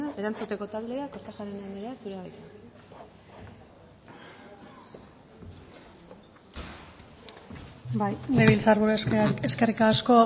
erantzuteko taldea kortajarena anderea zurea da hitza bai legebiltzar buru eskerrik asko